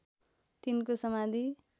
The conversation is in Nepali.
तिनको समाधि